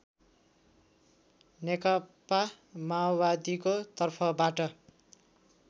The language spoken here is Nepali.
नेकपा माओवादीको तर्फबाट